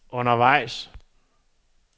undervejs